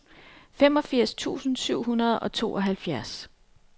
femogfirs tusind syv hundrede og tooghalvfjerds